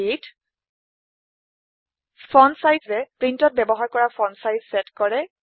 fontsizeএ প্ৰীন্টএ ব্যৱহাৰ কৰা ফন্ট চাইজ চেট কৰে